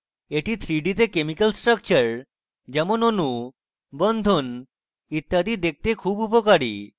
এটি 3d তে chemical structure যেমন অণু বন্ধন ইত্যাদি দেখতে খুব উপকারী